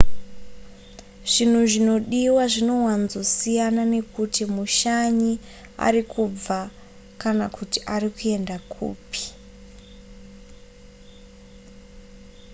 zvinhu zvinodiwa zvinowanzosiyana nekuti mushanyi ari kubva kana kuti ari kuenda kupi